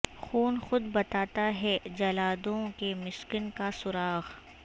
خون خود بتاتا ہے جلادوں کے مسکن کا سراغ